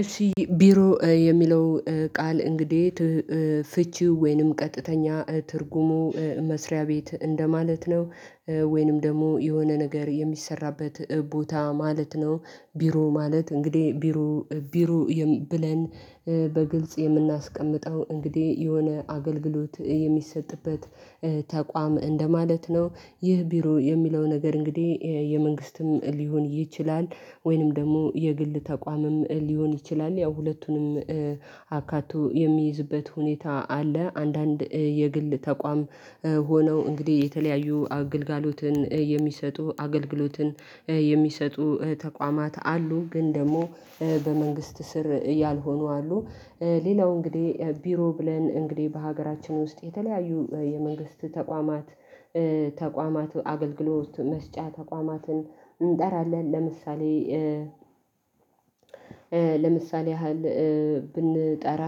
እሺ ቢሮ የሚለው ቃል እንግዲህ ፍቺ ወይንም ቀጥተኛ ትርጉሙ መስሪያ ቤት እንደማለት ነው ወይንም ደግሞ የሆነ ነገር የሚሰራበት ቦታ ማለት ነው። ቢሮ ማለት እንግዲህ ቢሮ ቢሮ ብለን በግልጽ የምናስቀምጠው እንግዲህ የሆነ አገልግሎት የሚሰጥበት ተቋም እንደማለት ነው። ይህ ቢሮ የሚለው ነገር እንግዲህ የመንግስትም ሊሆን ይችላል ወይንም ደግሞ የግል ተቋምም ሊሆን ይችላል ያው ሁለቱንም አካቶ የሚይዝበት ሁኔታ አለ። አንዳንድ የግል ተቋም ሆነው እንግዲህ የተለያዩ አገልግሎትን የሚሰጡ አገልግሎትን የሚሰጡ ተቋማት አሉ ግን ደግሞ በመንግስት ስር ያልሆኑ አሉ። ሌላው እንግዲህ ቢሮ ብለን እንግዲህ በሀገራችን ውስጥ የተለያዩ የመንግስት ተቋማት ተቋማት አገልግሎት መስጫ ተቋማትን እንጠራለን። ለምሳሌ ለምሳሌ ያህል ብንጠራ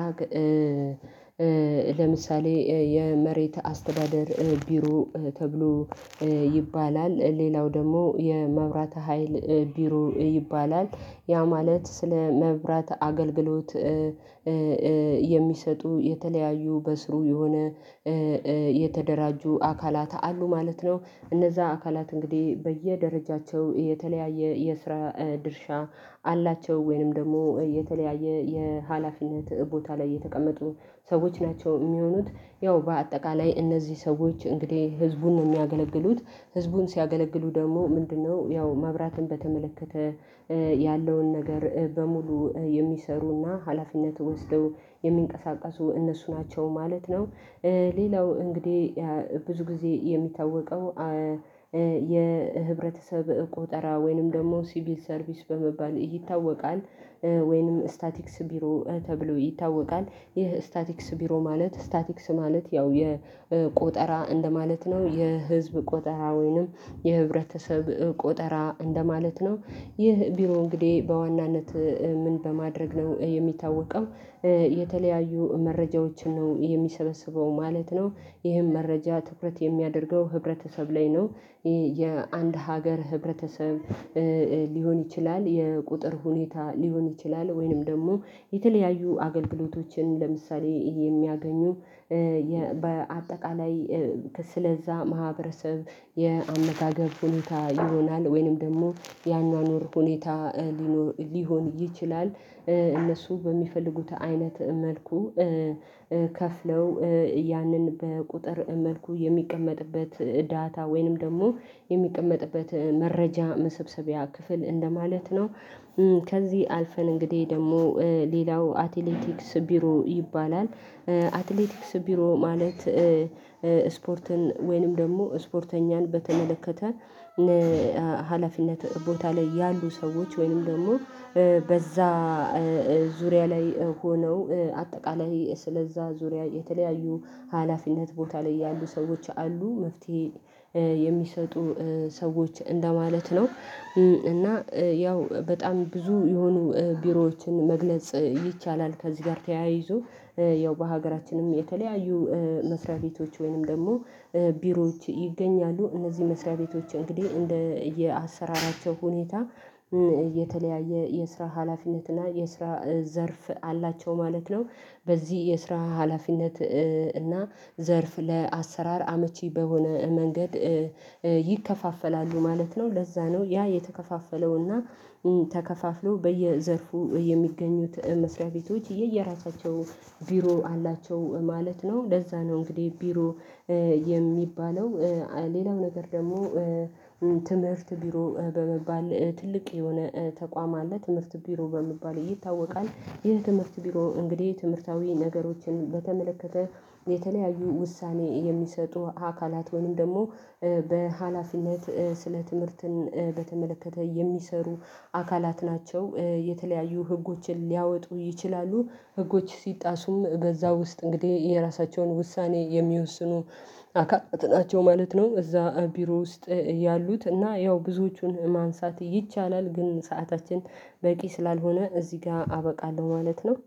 ለምሳሌ የመሬት አስተዳደር ቢሮ ተብሎ ይባላል። ሌላው ደግሞ የመብራት ሀይል ቢሮ ይባላል ያ ማለት ስለ መብራት አገልግሎት የሚሰጡ የተለያዩ በስሩ የሆነ የተደራጁ አካላት አሉ ማለት ነው። እነዛ አካላት እንግዲህ በየደረጃቸው የተለያየ የስራ ድርሻ አላቸው ወይንም ደግሞ የተለያየ የሀላፊነት ቦታ ላይ የተቀመጡ ሰዎች ናቸው የሚሆኑት ያው በአጠቃላይ እነዚህ ሰዎች እንግዲህ ህዝቡን ነው የሚያገለግሉት። ህዝቡን ሲያገለግሉ ደግሞ ምንድነው ያው መብራትን በተመለከተ ያለውን ነገር በሙሉ የሚሰሩና ሀላፊነት ወስደው የሚንቀሳቀሱ እነሱ ናቸው ማለት ነው። ሌላው እንግዲህ ብዙ ጊዜ የሚታወቀው የህብረተሰብ ቁጠራ ወይንም ደግሞ ሲቪል ሰርቪስ በመባል ይታወቃል። ወይንም ስታቲክስ ቢሮ ተብሎ ይታወቃል። ይህ ስታቲክስ ቢሮ ማለት ስታቲክስ ማለት ያው የቆጠራ እንደማለት ነው የህዝብ ቆጠራ ወይንም የህብረተሰብ ቆጠራ እንደማለት ነው። ይህ ቢሮ እንግዲህ በዋናነት ምን በማድረግ ነው የሚታወቀው? የተለያዩ መረጃዎችን ነው ይሄ የሚሰበስበው ማለት ነው። ይሄም መረጃ ትኩረት የሚያደርገው ህብረተሰብ ላይ ነው። የአንድ ሀገር ህብረተሰብ ሊሆን ይችላል የቁጥር ሁኔታ ሊሆን ይችላል ወይንም ደግሞ የተለያዩ አገልግሎቶችን ለምሳሌ የሚያገኙ። በአጠቃላይ ስለዛ ማህበረሰብ የአመጋገብ ሁኔታ ይሆናል ወይንም ደግሞ ያኗኗር ሁኔታ ሊሆን ይችላል። እነሱ በሚፈልጉት አይነት መልኩ ከፍለው ያንን በቁጥር መልኩ የሚቀመጥበት ዳታ ወይንም ደግሞ የሚቀመጥበት መረጃ መሰብሰቢያ ክፍል እንደማለት ነው። ከዚህ አልፈን እንግዲህ ደግሞ ሌላው አትሌቲክስ ቢሮ ይባላል። አትሌቲክስ ቢሮ ማለት ስፖርትን ወይንም ደግሞ ስፖርተኛን በተመለከተ ሀላፊነት ቦታ ላይ ያሉ ሰዎች ወይንም ደግሞ በዛ ዙሪያ ላይ ሆነው አጠቃላይ ስለዛ ዙሪያ የተለያዩ ሀላፊነት ቦታ ላይ ያሉ ሰዎች አሉ መፍትሄ የሚሰጡ ሰዎች እንደማለት ነው። እና ያው በጣም ብዙ የሆኑ ቢሮዎችን መግለጽ ይቻላል። ከዚህ ጋር ተያይዞ ያው በሀገራችንም የተለያዩ መስሪያ ቤቶች ወይንም ደግሞ ቢሮዎች ይገኛሉ። እነዚህ መስሪያ ቤቶች እንግዲህ እንደየ አሰራራቸው ሁኔታ የተለያየ የስራ ሀላፊነት እና የስራ ዘርፍ አላቸው ማለት ነው። በዚህ የስራ ሀላፊነት እና ዘርፍ ለአሰራር አመቺ በሆነ መንገድ ይከፋፈላሉ ማለት ነው። ለዛ ነው ያ የተከፋፈለው እና ተከፋፍለው በየዘርፉ የሚገኙት መስሪያ ቤቶች የየራሳቸው ቢሮ አላቸው ማለት ነው። ለዛ ነው እንግዲህ ቢሮ የሚባለው ሌላው ነገር ደግሞ ትምህርት ቢሮ በመባል ትልቅ የሆነ ተቋም አለ። ትምህርት ቢሮ በሚባል ይታወቃል። ይህ ትምህርት ቢሮ እንግዲህ የትምህርታዊ ነገሮችን በተመለከተ የተለያዩ ውሳኔ የሚሰጡ አካላት ወይም ደግሞ በሃላፊነት ስለ ትምህርትን በተመለከተ የሚሰሩ አካላት ናቸው። የተለያዩ ህጎችን ሊያወጡ ይችላሉ ህጎች ሲጣሱም በዛ ውስጥ እንግዲህ የራሳቸውን ውሳኔ የሚወስኑ አካላት ናቸው ማለት ነው። እዛ ቢሮ ውስጥ ያሉት እና ያው ብዙዎቹን ማንሳት ይቻላል ግን ሰዓታችን በቂ ስላልሆነ እዚህ ጋር አበቃለሁ። ማለት ነው።